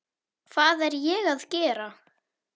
Hvað er ég að gera?